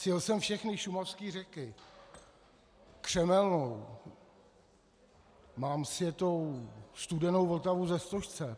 Sjel jsem všechny šumavské řeky, Křemelnou, mám sjetou Studenou Vltavu ze Stožce.